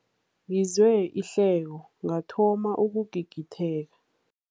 Ngizwe ihleko ngathoma ukugigitheka.